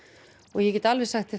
og ég get alveg sagt þér